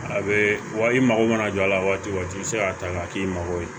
A bɛ i mako mana jɔ a la waati o waati i bɛ se k'a ta k'a k'i mago ye